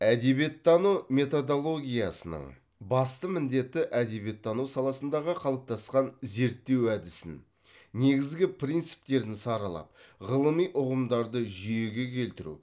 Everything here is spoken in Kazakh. әдебиеттану методологиясының басты міндеті әдебиеттану саласындағы қалыптасқан зерттеу әдісін негізгі принциптерін саралап ғылыми ұғымдарды жүйеге келтіру